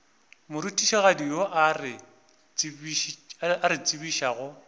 morutišigadi yo a re tsebišago